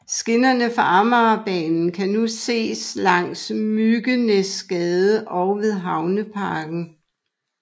Skinnerne fra Amagerbanen kan endnu ses langs Myggenæsgade og ved Havneparken